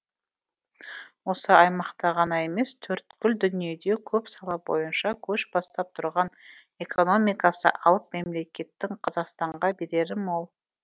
осы аймақта ғана емес төрткүл дүниеде көп сала бойынша көш бастап тұрған экономикасы алып мемлекеттің қазақстанға берері мол